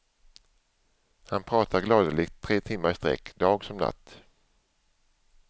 Han pratar gladeligt tre timmar i sträck, dag som natt.